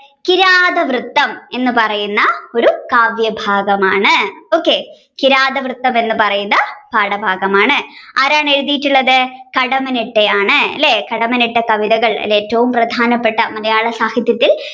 കിഴാതവൃത്തം എന്ന് പറയുന്ന ഒരു കാവ്യഭാഗമാണ് okay കിഴാതവൃത്തം എന്ന് പറയുന്ന പാഠഭാഗമാണ് ആരാണ് എഴുതിയിട്ടുള്ളത് കടമ്മനിട്ട ആണ് അല്ലെ കടമ്മനിട്ട കവിതകൾ അല്ലെ ഏറ്റവും പ്രധാനപ്പെട്ട മലയാള സാഹിത്യത്തിൽ